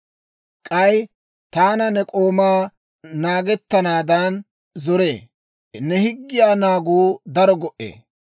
K'ay taana ne k'oomaa naagettanaadan zoree; ne higgiyaa naaguu daro go"ee.